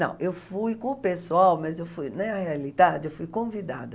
eu fui com o pessoal, mas eu fui, na realidade, eu fui convidada.